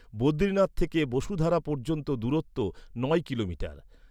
বদ্রীনাথ থেকে বসুধারা পর্যন্ত দূরত্ব নয় কিলোমিটার।